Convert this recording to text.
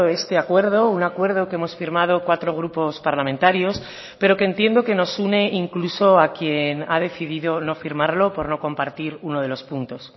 este acuerdo un acuerdo que hemos firmado cuatro grupos parlamentarios pero que entiendo que nos une incluso a quien ha decidido no firmarlo por no compartir uno de los puntos